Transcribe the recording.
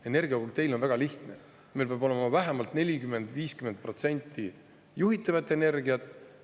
Energiakokteil on väga lihtne: meil peab olema vähemalt 40–50% juhitavat energiat.